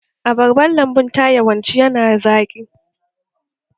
Abarban lambun ta yawanci yana zaƙi